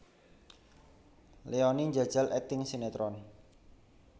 Leoni njajal akting sinetron